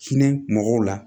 Hinɛ mɔgɔw la